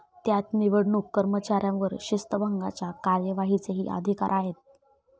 त्यात निवडणूक कर्मचाऱ्यांवर शिस्तभंगाच्या कार्यवाहीचेही अधिकार आहेत.